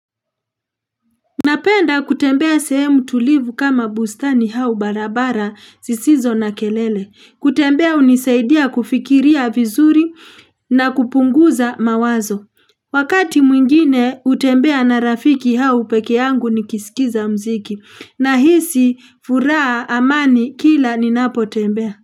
Napenda kutembea sehemu tulivu kama bustani au barabara zisizo na kelele kutembea hunisaidia kufikiria vizuri na kupunguza mawazo wakati mwingine utembea na rafiki au peke yangu nikisikiliza muziki ninahisi furaha amani kila ninapo tembea.